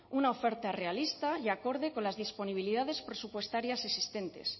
una oferta realista y acorde con las disponibilidades presupuestarias existentes